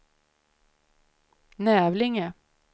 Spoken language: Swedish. Nävlinge